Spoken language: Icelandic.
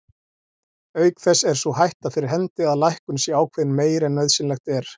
Auk þess er sú hætta fyrir hendi að lækkun sé ákveðin meiri en nauðsynlegt er.